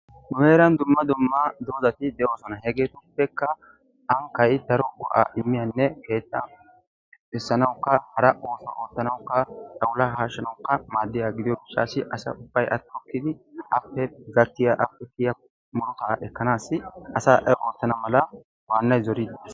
nu heeran dumma dumma doozati de'oosona. hegetuppekka ankkay daro go''aa immiyanne keetta keexxisanawukka hara ooso oottanwukka, xawulla haahshanawukka maaddiyaaga gidiyo gishshassi asa ubbay a tokkidi appe gakkiya, appe kiyiyya murutaa ekkanassi asay a ootana waanay zoride de'ees